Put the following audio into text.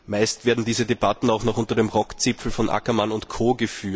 Meist werden diese Debatten auch noch unter dem Rockzipfel von Ackermann und Co.